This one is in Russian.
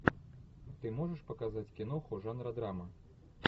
ты можешь показать киноху жанра драма